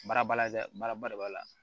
Baara ba la dɛ baara ba de b'a la